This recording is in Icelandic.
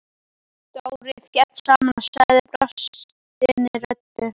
Dóri féll saman og sagði brostinni röddu: